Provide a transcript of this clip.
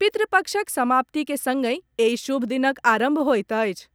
पितरपक्षक समाप्ति के संगहि एहि शुभ दिनक आरंभ होइत अछि,